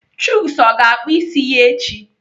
Chuks ọ ga-akpụ isi ya echi?